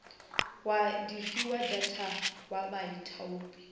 wa difiwa data wa baithaupi